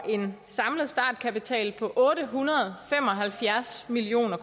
en samlet startkapital på otte hundrede og fem og halvfjerds million